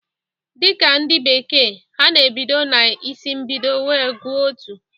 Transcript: Dịka ndị bekee, ha na-ebido na isi mbido wee gụọ otu.